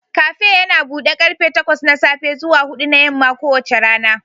Kafe yana buɗe karfe takwas na safe zuwa huɗu na yamma kowace rana